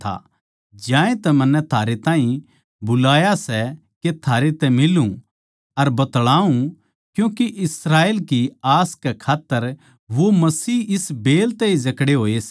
ज्यांतै मन्नै थारै ताहीं बुलाया सै के थारै तै मिलूं अर बतळाऊँ क्यूँके इस्राएल की आस कै खात्तर वो मसीह इस बेल तै जकड़े होये सै